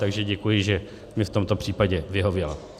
Takže děkuji, že mi v tomto případě vyhověla.